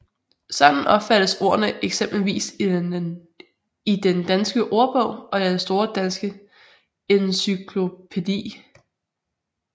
Sådan opfattes ordene eksempelvis i Den Danske Ordbog og Den Store Danske Encyklopædi